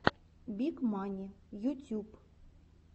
биг мани ютюб